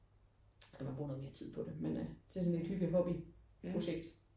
Der skal man bruge noget mere tid på det men det er sådan et hygge hobby projekt